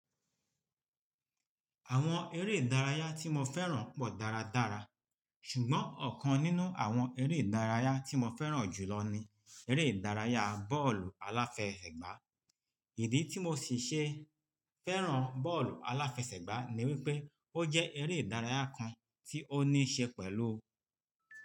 Àwọn eré ìdárayá tí mo fẹ́ràn pọ̀ dáradára ṣùgbọ́n ọ̀kan nínú àwọn eré ìdárayá tí mo fẹ́ràn jùlọ ni eré ìdárayá bọ́ọ̀lù aláfẹsẹ̀gbá. Ìdí tí mo sì ṣe fẹ́ràn bọ́ọ̀lù aláfẹsẹ̀gbá ni wípé ó jẹ́ eré ìdárayá kan tí ó ní ṣe pẹ̀lú.